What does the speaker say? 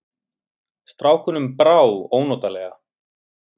Strákunum brá ónotalega.